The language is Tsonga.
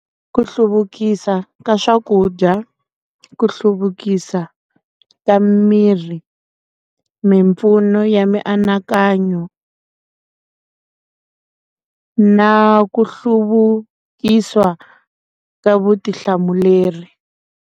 Ku hluvukisa ka swakudya, ku hluvukisa ka miri mimpfuno ya mianakanyo na ku hluvukisa ka vutihlamuleri.